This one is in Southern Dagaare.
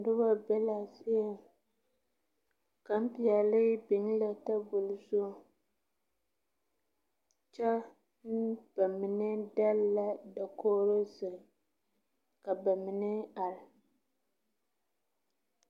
Noba be la a zie ,gane peɛle biŋ la tabol zu, kyɛ ba mine dagli la dakogi zeŋ ka ba mine are.